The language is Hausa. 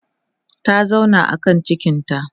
ta zauna a kan cikinta